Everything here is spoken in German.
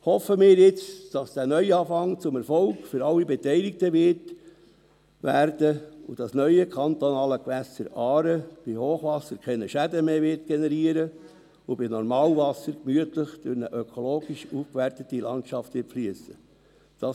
Hoffen wir jetzt, dass dieser Neuanfang zum Erfolg für alle Beteiligten wird und dass das neue kantonale Gewässer Aare bei Hochwasser keine Schäden mehr generieren und bei Normalwasser gemütlich durch eine ökologisch aufgewertete Landschaft fliessen wird.